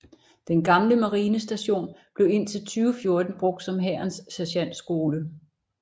Den gamle marinestation blev indtil 2014 brugt som Hærens Sergentskole